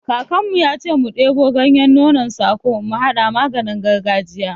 Kakan mu ya ce mu ɗebo ganyen nonon sako mu haɗa maganin gargajiya